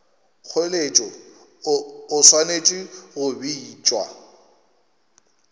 kgoeletšo o swanetše go bitša